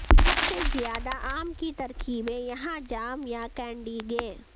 سب سے زیادہ عام کی ترکیبیں یہاں جام یا کینڈی گے